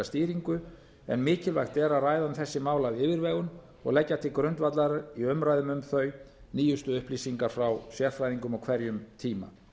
upplýsingastýringu en mikilvægt er að ræða um þessi mál af yfirvegun og leggja til grundvallar í umræðum um þau nýjustu upplýsingar frá sérfræðingum á hverjum tíma